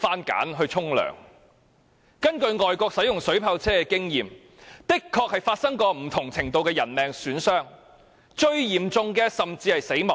根據外國的經驗，水炮車確曾造成不同程度的人命損傷，而最嚴重的甚至是死亡。